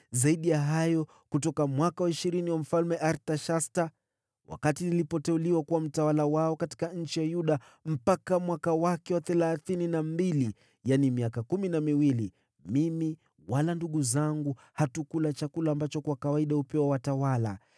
Zaidi ya hayo, kutoka mwaka wa ishirini wa Mfalme Artashasta, wakati nilipoteuliwa kuwa mtawala wao katika nchi ya Yuda, mpaka mwaka wake wa thelathini na mbili, yaani miaka kumi na miwili, mimi wala ndugu zangu hatukula chakula ambacho kwa kawaida hupewa watawala.